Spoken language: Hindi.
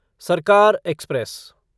सरकार एक्सप्रेस